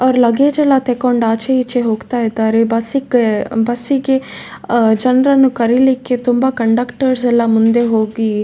ಅವ್ರ್ ಲಗೇಜ್ ಎಲ್ಲ ತಕೊಂಡ್ ಆಚೆ ಈಚೆ ಹೋಗ್ತಾ ಇದ್ದಾರೆ ಬಸ್ಗೆ ಬಸ್ಸಿಗೆ ಜನ್ರನ್ನ ಕರೀಲಿಕ್ಕೆ ತುಂಬಾ ಕಂಡಕ್ಟರ್ ಎಲ್ಲ ಮುಂದೆ ಹೋಗಿ--